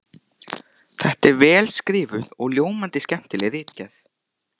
Þetta er vel skrifuð og ljómandi skemmtileg ritgerð!